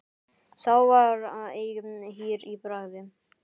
Sá var eigi hýr í bragði.